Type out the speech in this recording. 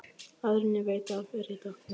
Áður en ég veit af er ég dott